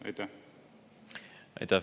Aitäh!